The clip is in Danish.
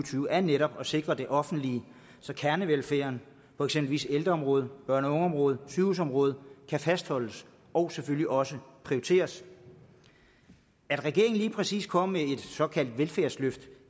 er netop at sikre det offentlige så kernevelfærden på eksempelvis ældreområdet børne og ungeområdet og sygehusområdet kan fastholdes og selvfølgelig også prioriteres at regeringen lige præcis kommer med et såkaldt velfærdsløft